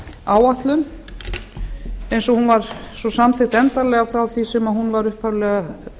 áætlun eins og hún var svo samþykkt endanlega frá því sem hún var upphaflega